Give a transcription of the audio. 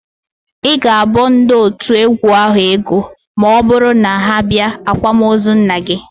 Ị ga-abọ ndị otu égwú ahụ ego ma ọbụrụ na ha bịa ákwạ́mozu nna gị